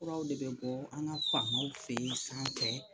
Furaw de bɛ bɔ an ka famaw fɛ yen sanfɛ